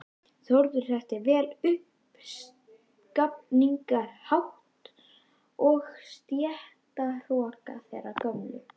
Þórður þekkti vel uppskafningshátt og stéttahroka þeirrar gömlu